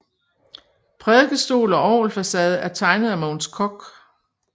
Prædikestol og orgelfacade er tegnet af Mogens Koch